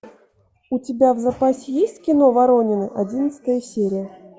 у тебя в запасе есть кино воронины одиннадцатая серия